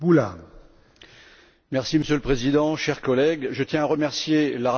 Monsieur le Président, chers collègues, je tiens à remercier la rapporteure pour son excellent travail.